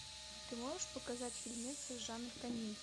ты можешь показать фильмец жанр комедии